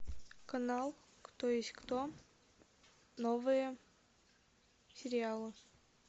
канал кто есть кто новые сериалы